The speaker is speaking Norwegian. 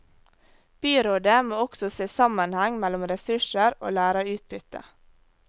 Byrådet må også se sammenheng mellom ressurser og læreutbytte.